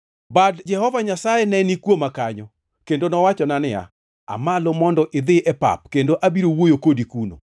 Bad Jehova Nyasaye ne ni kuoma kanyo, kendo nowachona niya, “Aa malo mondo idhi e pap, kendo abiro wuoyo kodi kuno.”